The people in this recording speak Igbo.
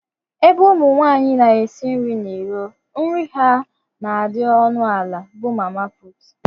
Ebe ụmụ nwanyị na-esi nri n’iro, nri ha na-adị onu ala bụ mamapụtu